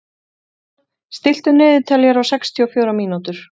Daðína, stilltu niðurteljara á sextíu og fjórar mínútur.